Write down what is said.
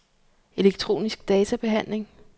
elektronisk databehandling